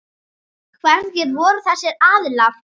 Hverjir voru þessir aðilar?